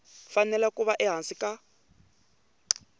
fanele ku va ehansi ka